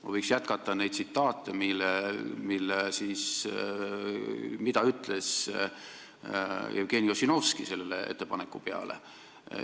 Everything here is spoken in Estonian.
Ma võiks jätkata neid tsitaate, mida ütles Jevgeni Ossinovski selle ettepaneku peale.